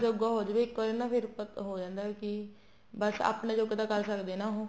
ਆਪਣੇ ਜੋਗਾ ਹੋ ਜਵੇ ਇੱਕ ਵਾਰੀ ਨਾ ਫ਼ਿਰ ਹੋ ਜਾਂਦਾ ਏ ਵੀ ਕੀ ਬੱਸ ਆਪਣੇ ਜੋਗਾ ਤਾਂ ਕਰ ਸਕਦੇ ਹੈ ਉਹ